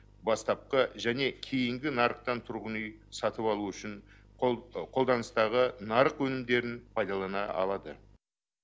бастапқы және кейінгі нарықтан тұрғын үй сатып алу үшін қолданыстағы нарық өнімдерін пайдалана алады